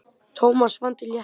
Thomas fann til léttis.